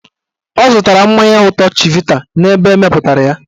Ọ zụtara mmanya ụtọ chivita n'ebe emepụtara ya.